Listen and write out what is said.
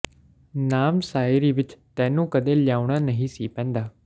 ਨਾਮ ਸਾਇਰੀ ਵਿੱਚ ਤੈਨੂੰ ਕਦੇ ਲਿਆਉਣਾਂ ਨਹੀਂ ਸੀ ਪੈਂਦਾ